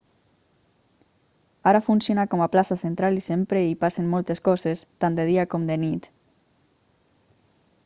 ara funciona com a plaça central i sempre hi passen moltes coses tant de dia com de nit